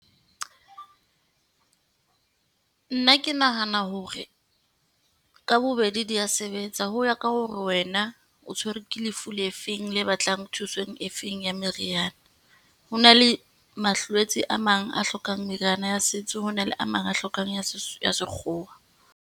Nna ke nahana hore ka bobedi di ya sebetsa ho ya ka hore wena o tshwerwe ke lefu le feng, le batlang thusong e feng ya meriana. Ho na le a mang a hlokang meriana ya setso, ho na le a mang a hlokang ya ya sekgowa.